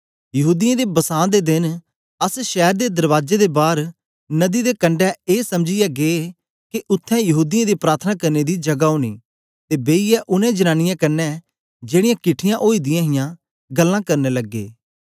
यहूदीयें दे बसां देन अस शैर दे दरबाजे दे बार नदी दे कंडै ए समझीयै गै के उत्थें यहूदीयें दे प्रार्थना करने दी जगह ओनी ते बेईयै उनै जनांनीयें कन्ने जेड़ीयां किट्ठीयां ओई दियां हियां गल्लां करन लगे